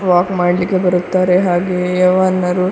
walk ಮಾಡಲಿಕ್ಕೆ ಬರುತ್ತಾರೆ ಹಾಗೆಯೇ ಯಾವ್ವನರು --